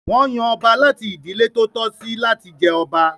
Wọn yan ọba láti ìdílé tó tọ́ sí láti jẹ ọba.